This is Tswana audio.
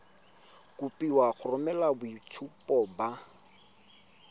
kopiwa go romela boitshupo ba